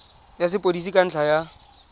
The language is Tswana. ya sepodisi ka ntlha ya